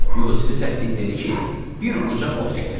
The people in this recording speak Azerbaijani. Yusifi səsləyib dedi ki, bir qucaq ot gətir.